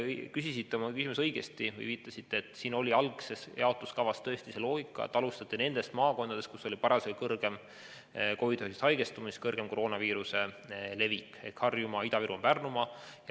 Viitasite oma küsimuses õigesti, et algses jaotuskavas oli tõesti lähtutud sellest loogikast, et alustati nendest maakondadest, kus oli parasjagu suurem haigestumus, suurem koroonaviiruse levik: Harjumaa, Ida-Virumaa, Pärnumaa.